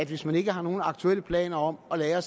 hvis man ikke har nogen aktuelle planer om at lagre